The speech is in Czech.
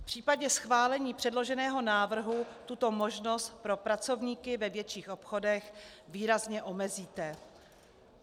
V případě schválení předloženého návrhu tuto možnost pro pracovníky ve větších obchodech výrazně omezíte.